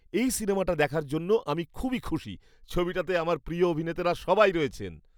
এই সিনেমাটা দেখার জন্য আমি খুবই খুশি। ছবিটাতে আমার প্রিয় অভিনেতারা সবাই রয়েছে্ন।